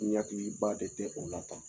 N hakiliba de tɛ o la tan